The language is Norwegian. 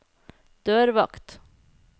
dørvakt